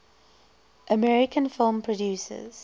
american film producers